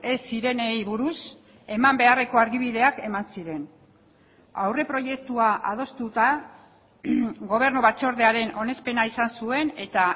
ez zirenei buruz eman beharreko argibideak eman ziren aurreproiektua adostuta gobernu batzordearen onespena izan zuen eta